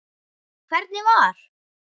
Hvernig var?